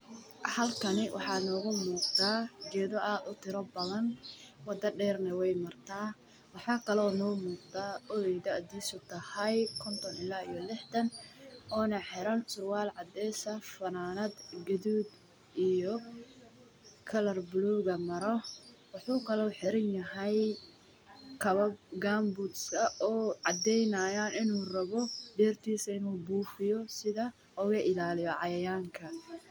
Halkani waxaa nooga muuqda geeda aad utira badan wadana weey noo muqata waxaa jiraa duq meesha taagan oo qabo maryo oo rabo inuu beertisa buifiyo si uu oga ilaaliyo cayayaanka.